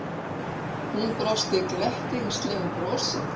Hún brosti glettnislegu brosi.